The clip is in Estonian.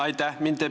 Aitäh!